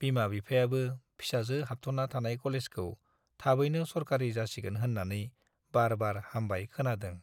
बिमा-बिफायाबो फिसाजो हाबथ'ना थानाय कलेजखौ थाबैनो सरकारि जासिगोन होन्नानै बारबाय-हामबाय खोनादों।